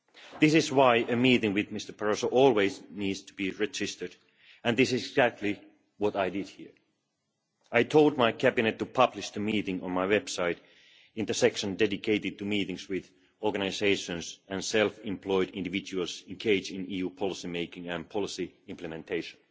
This is why a meeting with Mr Barroso always needs to be registered, and this is exactly what I did. I told my cabinet to publish the meeting on my website, in the section dedicated to meetings with organisations and self employed individuals engaged in EU policy making and policy implementation.